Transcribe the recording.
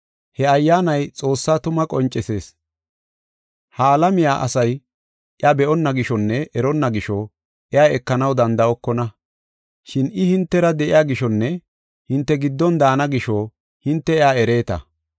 He Ayyaanay Xoossaa tumaa qoncisees. Ha alamiya asay iya be7onna gishonne eronna gisho iya ekanaw danda7okona. Shin I hintera de7iya gishonne hinte giddon daana gisho hinte iya ereeta.